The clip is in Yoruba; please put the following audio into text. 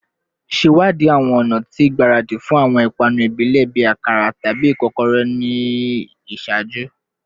Ṣewadii awọn ọna ti igbaradi fun awọn ipanu ibile bii akara tabi ikokore ni iṣaaju